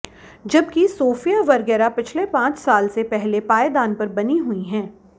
जबकि Sofia Vergara पिछले पांच साल से पहले पायदान पर बनी हुई हैं